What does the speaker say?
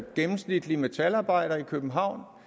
gennemsnitlig metalarbejder i københavn